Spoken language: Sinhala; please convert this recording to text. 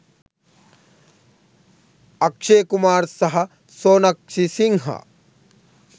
අක්ෂේ කුමාර් සහ සොනක්ෂි සිංහා